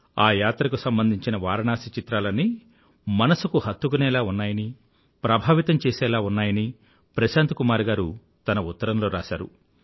ఆ యాత్రకు సంబంధించిన వారణాసి చిత్రాలన్నీ మనసుకు హత్తుకునేలా ఉన్నాయని ప్రభావితం చేసేలా ఉన్నాయని ప్రశాంత్ కుమార్ గారు తన ఉత్తరంలో రాసారు